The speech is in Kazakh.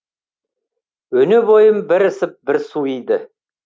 өне бойым бір ысып бір суиды